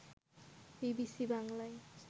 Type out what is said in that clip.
BBC বাংলায়